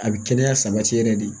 A bɛ kɛnɛya sabati yɛrɛ de